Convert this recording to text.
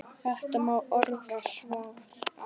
Þetta má orða svo að